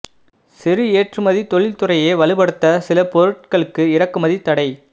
சிறு ஏற்றுமதி தொழில் துறையை வலுப்படுத்த சில பொருட்களுக்கு இறக்குமதி தடை